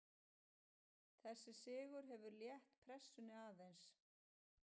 Þessi sigur hefur létt pressunni aðeins.